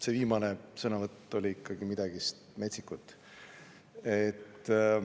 See viimane sõnavõtt oli ikkagi midagi metsikut.